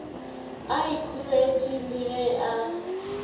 a ikhoretše le ge a